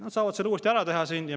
Nad saavad seda uuesti teha.